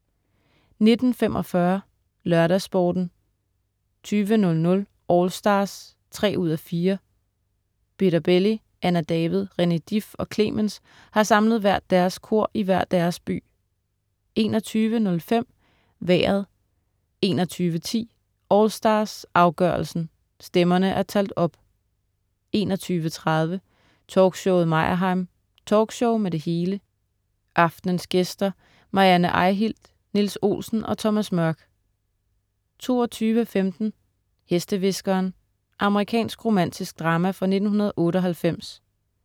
19.45 LørdagsSporten 20.00 AllStars 3:4. Peter Belli, Anna David, René Dif og Clemens har samlet hvert deres kor i hver deres by 21.05 Vejret 21.10 AllStars, afgørelsen. Stemmerne er talt op 21.30 Talkshowet Meyerheim. Talkshow med det hele aftens gæster: Marianne Eihilt, Niels Olsen og Thomas Mørk 22.15 Hestehviskeren. Amerikansk romantisk drama fra 1998